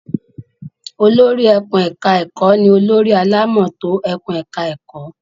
Olórí ẹkùn-ẹ̀ka-ẹ̀kọ́ ní olórí alámòótó ẹkùn-ẹ̀ka-ẹ̀kọ́.